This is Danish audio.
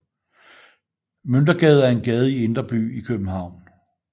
Møntergade er en gade i Indre By i København